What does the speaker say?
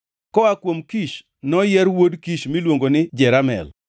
Koa kuom Kish, noyier wuod Kish miluongo ni Jeramel.